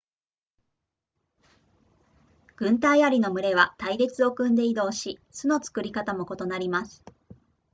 軍隊アリの群れは隊列を組んで移動し巣の作り方も異なります